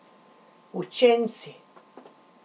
Učenci.